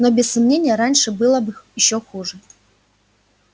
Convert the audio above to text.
но без сомнения раньше было ещё хуже